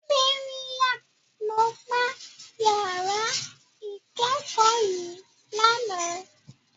Mariam ló gbá yàrá ìkẹ́kọ̀ọ́ yìí lánàá.